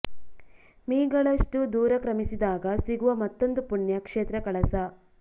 me ಗಳಷ್ಟು ದೂರ ಕ್ರಮಿಸಿದಾಗ ಸಿಗುವ ಮತ್ತೊಂದು ಪುಣ್ಯ ಕ್ಷೇತ್ರ ಕಳಸ